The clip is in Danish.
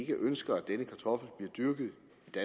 ønsker at denne kartoffel bliver dyrket